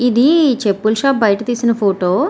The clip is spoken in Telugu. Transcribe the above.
ఇది చెప్పుల షాపు బయట తీసిన ఫోటో .